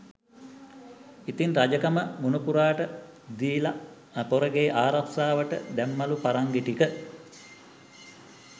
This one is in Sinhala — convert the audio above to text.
ඉතින් රජකම මුණුපුරාට දීල පොරගේ ආරක්ෂාවට දැම්මලු පරංගි ටික.